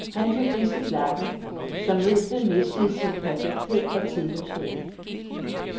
Han fik ridset lakken, så møblet mistede sin perfekthed og tidløshed.